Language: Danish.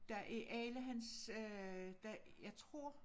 Der i alle hans øh der jeg tror